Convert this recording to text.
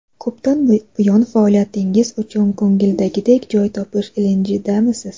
Ko‘pdan buyon faoliyatingiz uchun ko‘ngildagidek joy topish ilinjidamisiz?